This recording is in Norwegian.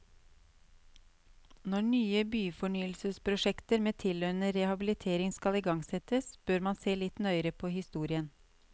Når nye byfornyelsesprosjekter med tilhørende rehabilitering skal igangsettes, bør man se litt nøyere på historien.